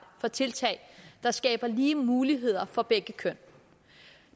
for tiltag der skaber lige muligheder for begge køn